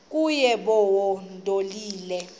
kuye bawo ndonile